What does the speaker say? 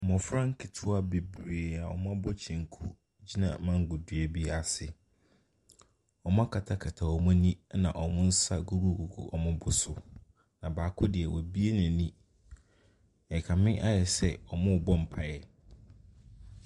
Mmɔfra nketewa bebree a wɔabɔ kyenku gyina mango dua bi ase. Wɔakatakata wɔn ani na wɔn nsa gugugugu wɔn bo so. Na baako deɛ wabuo n'ani. Ɛrekame ayɛ sɛ wɔrebɔ mpaeɛ.